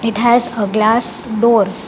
It has a glass door --